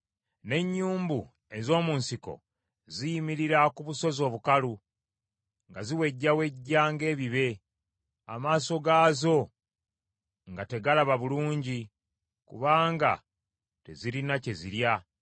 N’ennyumbu ez’omu nsiko ziyimirira ku busozi obukalu nga ziwejjawejja ng’ebibe, amaaso gaazo nga tegalaba bulungi kubanga tezirina kye zirya.”